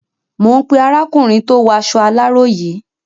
Mò ń pé arákùnrin tó waṣọ aláró yìí.